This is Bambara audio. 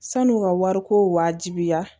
San'u ka wariko wajibiya